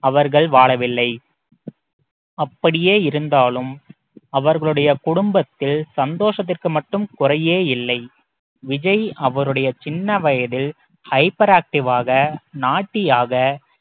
அவர்கள் வாழவில்லை அப்படியே இருந்தாலும் அவர்களுடைய குடும்பத்தில் சந்தோஷத்திற்கு மட்டும் குறையே இல்லை விஜய் அவருடைய சின்ன வயதில் hyper active வாக naughty யாக